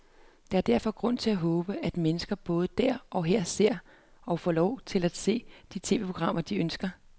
Der er derfor grund til at håbe, at mennesker både der og her ser, og får lov til at se, de tv-programmer, de ønsker.